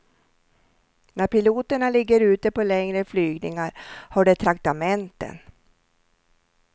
När piloterna ligger ute på längre flygningar har de traktamenten.